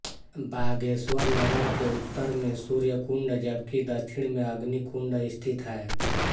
बागेश्वर नगर के उत्तर में सूर्यकुण्ड जबकि दक्षिण में अग्निकुण्ड स्थित है